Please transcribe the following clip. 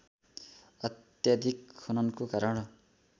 अत्याधिक खननको कारण